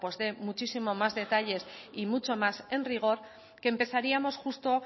dé muchísimos más detalles y mucho más en rigor que empezaríamos justo